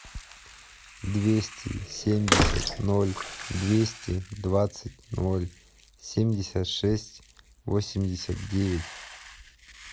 двести семьдесят ноль двести двадцать ноль семьдесят шесть восемьдесят девять